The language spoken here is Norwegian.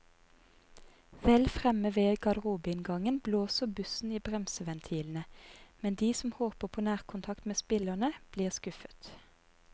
Vel fremme ved garderobeinngangen blåser bussen i bremseventilene, men de som håper på nærkontakt med spillerne, blir skuffet.